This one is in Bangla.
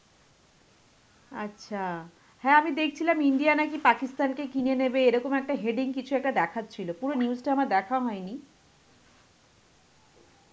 আচ্ছা, হ্যাঁ আমি দেখছিলাম India নাকি Pakistan কে কিনে নেবে, এরকম একটা heading কিছু একটা দেখাচ্ছিল, পুরো news টা আমার দেখা হয়নি.